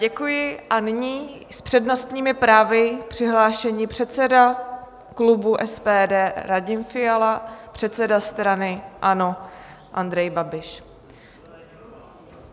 Děkuji a nyní s přednostními právy přihlášení předseda klubu SPD Radim Fiala, předseda strany ANO Andrej Babiš.